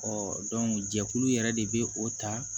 jɛkulu yɛrɛ de bɛ o ta